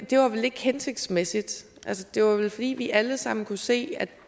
det er vel ikke hensigtsmæssigt det var vel fordi vi alle sammen kunne se at